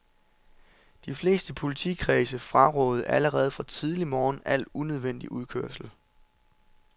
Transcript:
De fleste politikredse frarådede allerede fra tidlig morgen al unødvendig udkørsel.